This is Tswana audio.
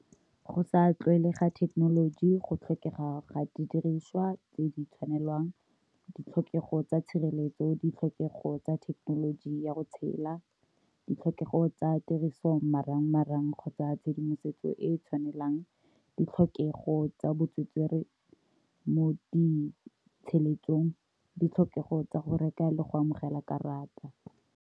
Go sa tlwaelega thekenoloji go tlhokega ga didiriswa tse di tshwanelwang, ditlhokego tsa tshireletso, ditlhokego tsa thekenoloji ya go tshela, ditlhokego tsa tiroso marang marang kgotsa tshedimosetso e e tshwanelang, ditlhokego tsa bo tswetswere mo ditlhokego tsa go reka le go amogela karata.